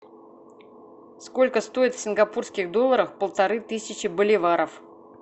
сколько стоит в сингапурских долларах полторы тысячи боливаров